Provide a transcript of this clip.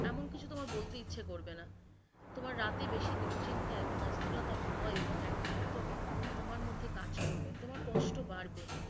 এমন কিছু তোমার বলতে ইচ্ছে করবে না তোমার রাতে বেশি দুশ্চিন্তা এবং অস্থিরতা, ভয়ে এবং একাকীর্ত তোমার মধ্যে কাজ করবে, তোমার কষ্ট বাড়বে।